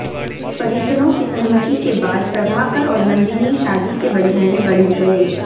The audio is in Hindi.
परिजनों की सहमति के बाद प्रभाकर और नंदिनी शादी के बंधन में बंध गए